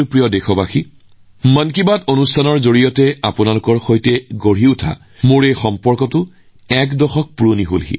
মোৰ প্ৰিয় দেশবাসী মন কী বাতৰ জৰিয়তে আমাৰ আৰু আপোনালোকৰ মাজৰ সম্পৰ্ক এটা দশক পুৰণি